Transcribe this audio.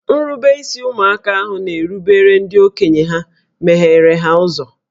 Nrubeisi ụmụaka ahụ na-erubere ndị okenye ha megheere ha ụzọ